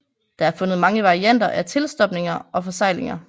Der er fundet mange varianter af tilstopninger og forseglinger